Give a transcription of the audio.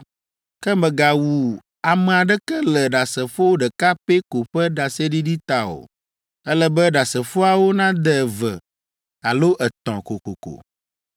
Ke mègawu ame aɖeke le ɖasefo ɖeka pɛ ko ƒe ɖaseɖiɖi ta o. Ele be ɖasefoawo nade eve alo etɔ̃ kokoko.